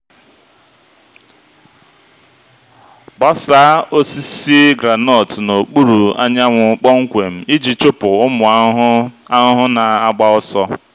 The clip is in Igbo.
gbasaa osisi groundnut n'okpuru anyanwụ kpọmkwem iji chụpụ ụmụ ahụhụ ahụhụ na-agba ọsọ.